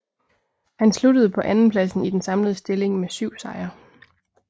Han sluttede på andenpladsen i den samlede stilling med 7 sejre